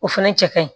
O fɛnɛ cɛ ka ɲi